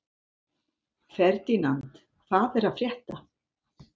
Ferdínand, hvað er að frétta?